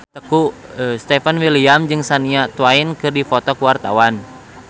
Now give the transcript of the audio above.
Stefan William jeung Shania Twain keur dipoto ku wartawan